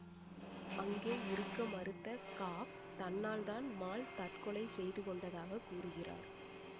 அங்கே இருக்க மறுத்த காப் தன்னால் தான் மால் தற்கொலை செய்துக்கொண்டதாக கூறுகிறார்